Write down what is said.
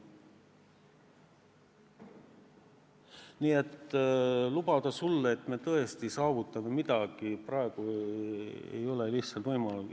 Nii et lubada sulle, et me tõesti saavutame midagi, ei ole paraku lihtsalt võimalik.